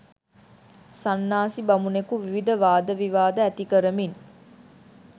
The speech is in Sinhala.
සන්නාසි බමුණෙකු විවිධ වාද විවාද ඇති කරමින්